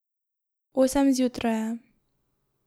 Osem zjutraj je.